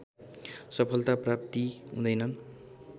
सफलता प्राप्ति हुँदैन